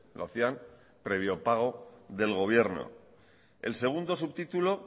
lo hacían previo pago del gobierno el segundo subtítulo